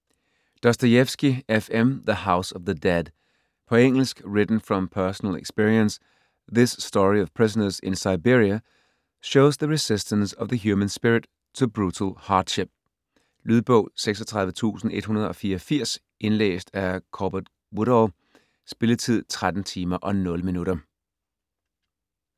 Dostojevskij, F. M.: The house of the dead På engelsk. Written from personal experience, this story of prisoners in Siberia shows the resistance of the human spirit to brutal hardship. Lydbog 36184 Indlæst af Corbett Woodall Spilletid: 13 timer, 0 minutter.